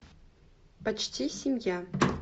почти семья